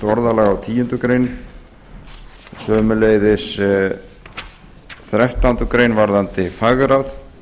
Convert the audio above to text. orðalag á tíundu greinar sömuleiðis þrettándu greinar varðandi fagráð